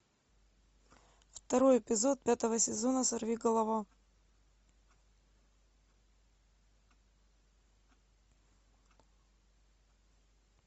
второй эпизод пятого сезона сорви голова